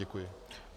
Děkuji.